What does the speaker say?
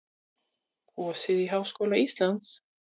Kosið í Háskóla Íslands